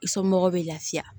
I somɔgɔw bɛ lafiya